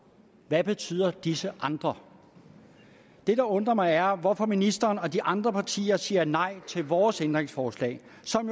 hvad betyder disse andre det der undrer mig er hvorfor ministeren og de andre partier siger nej til vores ændringsforslag